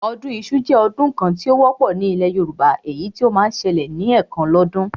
Ọdún iṣu jẹ́ ọdún kan tí ó wọ́pọ̀ ní ilẹ̀ Yorùbá, èyí tí ó máa ń ṣẹlẹ̀ ní ẹ̀kan lọ́dún